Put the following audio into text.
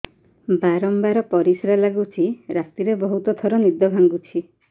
ବାରମ୍ବାର ପରିଶ୍ରା ଲାଗୁଚି ରାତିରେ ବହୁତ ଥର ନିଦ ଭାଙ୍ଗୁଛି